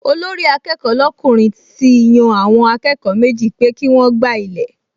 Olórí-akẹ́kọ̀ọ́ lọ́kùnrin ti yan àwọn akẹ́kọ̀ọ méjì pé kí wọ́n gbá ilẹ̀